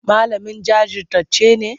Malamin jajirtacce ne?